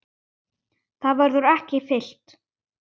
Það verður ekki fyllt.